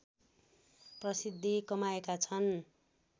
प्रसिद्धि कमाएका छन